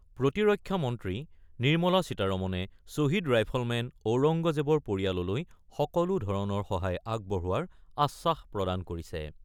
প্ৰতিৰক্ষা মন্ত্ৰী নিৰ্মলা সীতাৰমণে শ্বহীদ ৰাইফলমেন ঔৰংগজেৱৰ পৰিয়াললৈ সকলো ধৰণৰ সহায় আগবঢ়োৱাৰ আশ্বাস প্ৰদান কৰিছে ।